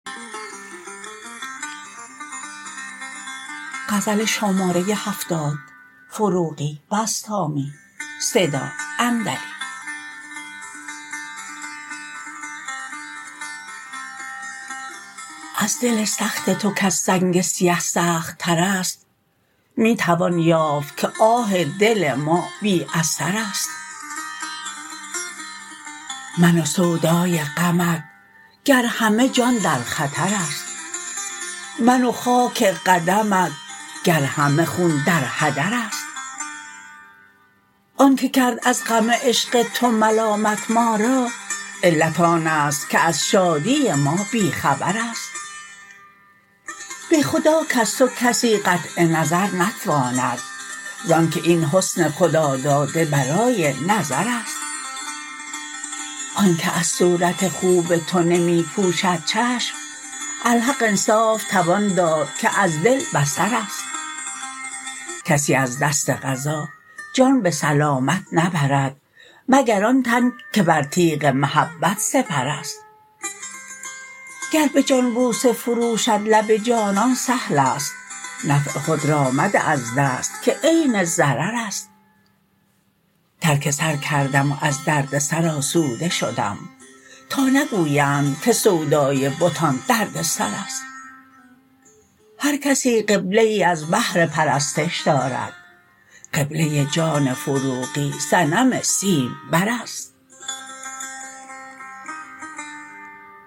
از دل سخت تو کز سنگ سیه سخت تر است می توان یافت که آه دل ما بی اثر است من و سودای غمت گر همه جان در خطراست من و خاک قدمت گر همه خون در هدر است آن که کرد از غم عشق تو ملامت ما را علت آن است که از شادی ما بی خبر است به خدا کز تو کسی قطع نظر نتواند زآن که این حسن خدا داده برای نظر است آن که از صورت خوب تو نمی پوشد چشم الحق انصاف توان داد که از دل بصر است کسی از دست قضا جان به سلامت نبرد مگر آن تن که بر تیغ محبت سپر است گر به جان بوسه فروشد لب جانان سهل است نفع خود را مده از دست که عین ضرر است ترک سر کردم و از دردسر آسوده شدم تا نگویند که سودای بتان دردسر است هر کسی قبله ای از بهر پرستش دارد قبله جان فروغی صنم سیم بر است